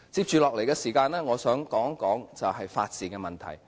接下來的時間我想說說法治的問題。